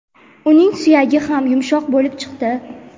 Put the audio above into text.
uning suyagi ham yumshoq bo‘lib chiqdi.